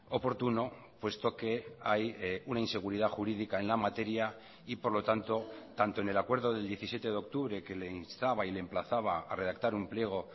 oportuno puesto que hay una inseguridad jurídica en la materia y por lo tanto tanto en el acuerdo del diecisiete de octubre que le instaba y le emplazaba a redactar un pliego